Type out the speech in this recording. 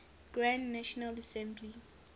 grand national assembly